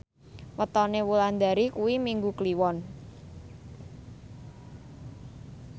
wetone Wulandari kuwi Minggu Kliwon